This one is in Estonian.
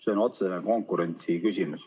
See on otsene konkurentsi küsimus.